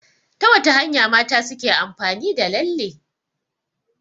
Ta wata hanya mata suke amfani da lalle?